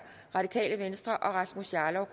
og rasmus jarlov